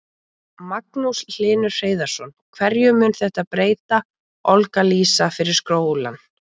Magnús Hlynur Hreiðarsson: Hverju mun þetta breyta, Olga Lísa, fyrir skólann?